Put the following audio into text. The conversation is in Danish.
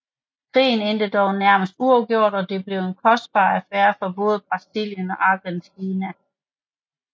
Krigen endte dog nærmest uafgjort og blev en kostbar affære for både Brasilien og Argentina